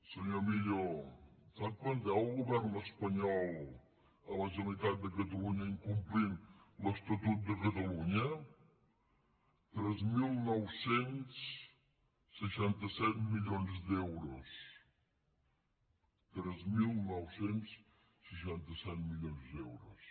senyor millo sap quant deu el govern espanyol a la generalitat de catalunya incomplint l’estatut de catalunya tres mil nou cents i seixanta set milions d’euros tres mil nou cents i seixanta set milions d’euros